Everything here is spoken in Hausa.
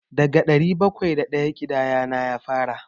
Daga ɗari bakwai da ɗaya ƙidayana ya fara.